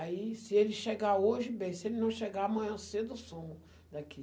Aí, se ele chegar hoje, bem, se ele não chegar amanhã cedo, eu sumo daqui.